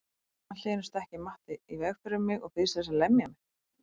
Allt í einu stekkur Matti í veg fyrir mig og býðst til að lemja mig.